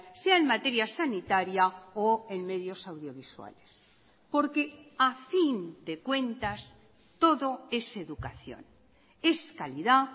sea en materia sanitaria o en medios audiovisuales porque a fin de cuentas todo es educación es calidad